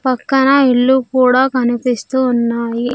పక్కన ఇల్లు కూడా కనిపిస్తూ ఉన్నాయి.